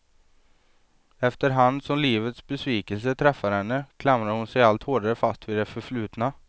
Efter hand som livets besvikelser träffar henne klamrar hon sig allt hårdare fast vid det förflutna.